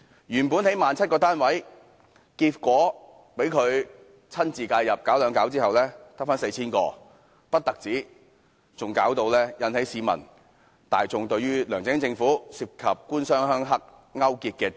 原本說要興建 17,000 個公屋單位，結果被他親自介入"搞兩搞"後，只剩下 4,000 個，此事更令市民大眾懷疑梁振英政府勾結"官商鄉黑"。